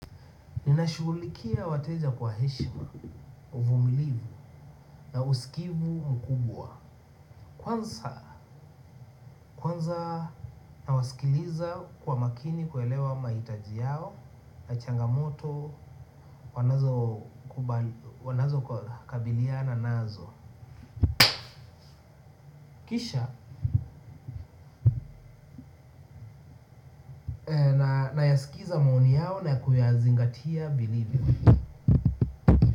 Ninashughulikia wateja kwa heshima, uvumilivu na usikivu mkubwa kwanza nawasikiliza kwa makini kuelewa mahitaji yao na changamoto wanazokabilianw nazo kisha nayaskiza maoni yao na kuyazingatia vilivyo.